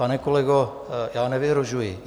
Pane kolego, já nevyhrožuji.